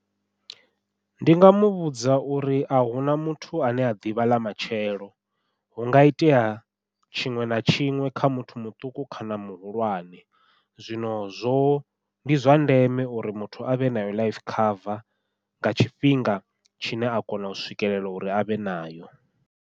Ndi nga muvhudza uri ahuna muthu ane a ḓivha ḽa matshelo, hunga itea tshiṅwe na tshiṅwe kha muthu muṱuku kana muhulwane, zwino zwo ndi zwa ndeme uri muthu avhe nayo life cover nga tshifhinga tshine a kona u swikelela uri avhe nayo.